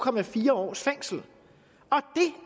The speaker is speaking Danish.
års fængsel